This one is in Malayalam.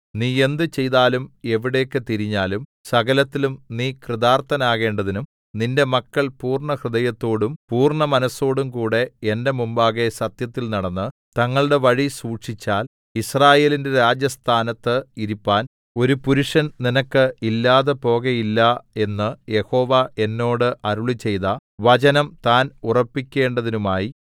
നീ എന്ത് ചെയ്താലും എവിടേക്ക് തിരിഞ്ഞാലും സകലത്തിലും നീ കൃതാർത്ഥനാകേണ്ടതിനും നിന്റെ മക്കൾ പൂർണ്ണഹൃദയത്തോടും പൂർണ്ണ മനസ്സോടുംകൂടെ എന്റെ മുമ്പാകെ സത്യത്തിൽ നടന്ന് തങ്ങളുടെ വഴി സൂക്ഷിച്ചാൽ യിസ്രായേലിന്റെ രാജസ്ഥാനത്ത് ഇരിപ്പാൻ ഒരു പുരുഷൻ നിനക്ക് ഇല്ലാതെപോകയില്ല എന്ന് യഹോവ എന്നോട് അരുളിച്ചെയ്ത വചനം താൻ ഉറപ്പിക്കേണ്ടതിനുമായി